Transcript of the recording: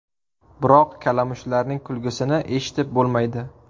Biroq kalamushlarning kulgisini eshitib bo‘lmaydi.